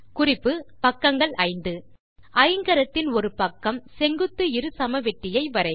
குறிப்பு பக்கங்கள் 5 ஐங்கரத்தின் ஒரு பக்கம் செங்குத்து இருசமவெட்டியை வரைக